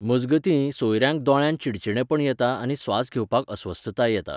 मजगतीं, सोयऱ्यांक दोळ्यांत चिडचिडेपण येता आनी स्वास घेवपाक अस्वस्थताय येता.